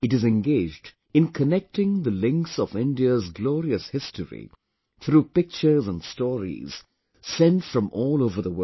It is engaged in connecting the links of India's glorious history through pictures and stories sent from all over the world